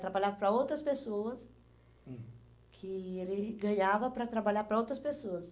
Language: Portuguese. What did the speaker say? Trabalhava para outras pessoas, hum, que ele ganhava para trabalhar para outras pessoas.